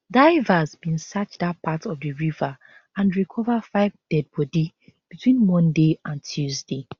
divers bin search dat part of di river and recover five deadbody between monday and tuesday